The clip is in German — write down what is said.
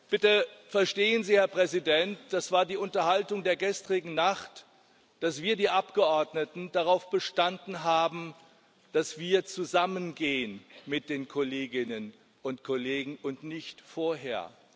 Bitte verstehen Sie, Herr Präsident das war die Diskussion der gestrigen Nacht dass wir, die Abgeordneten, darauf bestanden haben, dass wir zusammen mit den Kolleginnen und Kollegen gehen und nicht vorher.